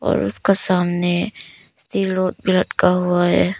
और उसका सामने भी लटका हुआ है।